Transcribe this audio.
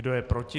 Kdo je proti?